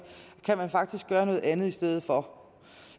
kan man faktisk gøre noget andet i stedet for